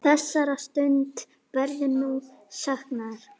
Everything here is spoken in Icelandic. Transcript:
Þessara stunda verður nú saknað.